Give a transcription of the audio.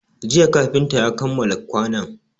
Jiya kafinta ya kammala kwanon